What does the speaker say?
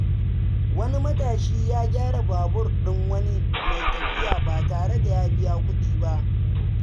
Wani matashi ya gyara babur ɗin wani mai tafiya ba tare da biyan kuɗi ba.